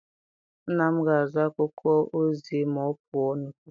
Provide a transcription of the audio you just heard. Nna m ga-azụ akwụkwọ ozi ma ọ pụọ n'ụtụtụ.